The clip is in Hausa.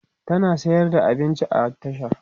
tana sayar da abinci a tasha